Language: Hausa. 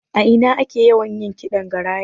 A ina ake yawan yin ƙidan Garaya?